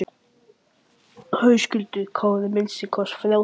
Höskuldur Kári: Minnsta kosti þrjátíu prósent?